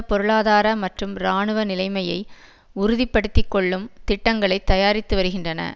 பொருளாதார மற்றும் இராணுவ நிலைமையை உறுதிப்படுத்துக்கொள்ளும் திட்டங்களை தயாரித்து வருகின்றன